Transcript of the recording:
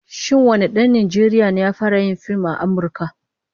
Shin wane dan Najeriya ne ya fara yin fim a Amurka?